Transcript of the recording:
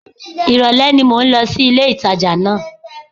Ìrọ̀lẹ́ ni mò ń lọ sí ilé-ìtàjà náà